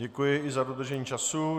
Děkuji i za dodržení času.